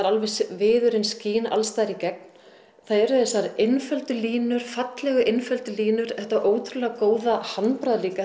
viðurinn skín alls staðar í gegn það eru þessar einföldu línur fallegu einföldu línur þetta ótrúlega góða handbragð líka